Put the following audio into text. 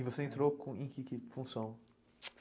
E você entrou em que função?